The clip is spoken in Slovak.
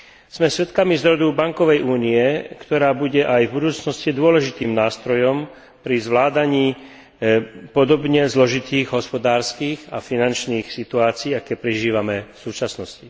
Sme svedkami zrodu bankovej únie, ktorá bude aj v budúcnosti dôležitým nástrojom pri zvládaní podobne zložitých hospodárskych a finančných situácií, aké prežívame v súčasnosti.